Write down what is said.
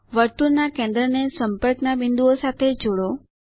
વર્તુળના કેન્દ્રને સંપર્કના બિંદુઓ સાથે જોડો